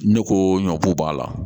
Ne ko ɲɔ ko b'a la